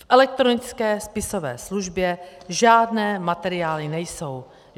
V elektronické spisové službě žádné materiály nejsou.